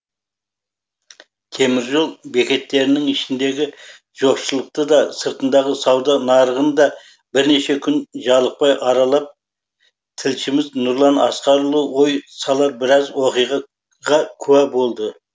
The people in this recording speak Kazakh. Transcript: теміржол бекеттерінің ішіндегі жоқшылықты да сыртындағы сауда нарығын да бірнеше күн жалықпай аралап тілшіміз нұрлан асқарұлы ой салар біраз оқиға ға куә болды